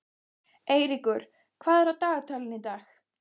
Eyríkur, hvað er á dagatalinu í dag?